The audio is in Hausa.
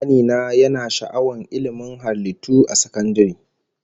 Kani na yana sha'awar ilmin halittu a sakandare